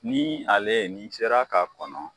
Ni ale ni sera ka kɔnɔ